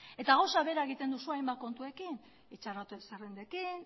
eta gauza bera egiten duzue hainbat kontuekin itxaron zerrendekin